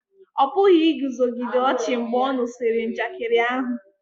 ọ pụghị iguzogide ọchị mgbe ọ nụsịrị njakịrị ahu